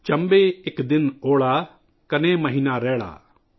'' چمبے ایک دن اونا کنے مہینا رینا ''